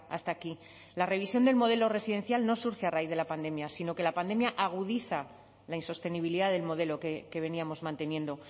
hasta aquí la revisión del modelo residencial no surge a raíz de la pandemia sino que la pandemia agudiza la insostenibilidad del modelo que veníamos manteniendo